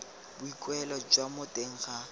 boikuelo jwa mo teng ga